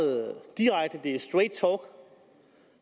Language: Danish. direkte det er straight talk